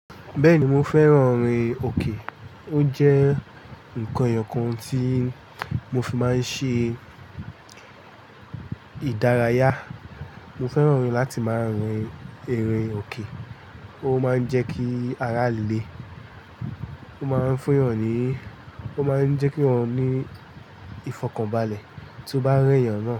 Bẹ́ẹ̀ni mo fẹ́ran orin òkè. O jẹ́ nǹkan èèyàn kan tí mo fi máa ń ṣe ìdárayá. Mo fẹ́ran láti máa rin eré òkè. O máa ń jẹ́ kí ara le, o máa ń fún èèyàn níí, o máa ń jẹ́ kí èèyàn ní ìfọ̀kànbalẹ̀ tí o bá rí èèyàn náà.